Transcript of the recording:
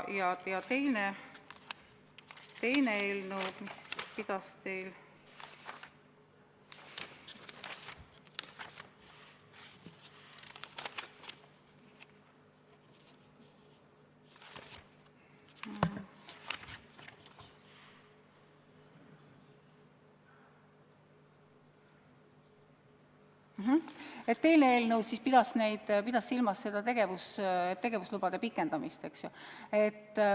Teine eelnõu pidas silmas tegevuslubade pikendamist, eks ole.